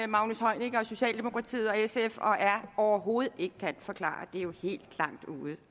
magnus heunicke og socialdemokratiet og sf og r overhovedet ikke kan forklare det er jo helt langt ude